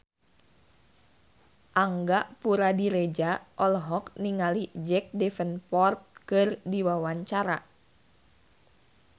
Angga Puradiredja olohok ningali Jack Davenport keur diwawancara